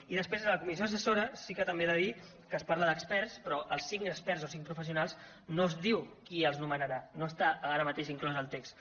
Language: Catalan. i després de la comissió assessora sí que també he de dir que es parla d’experts però dels cinc experts o cinc professionals no es diu qui els nomenarà no està ara mateix inclòs al text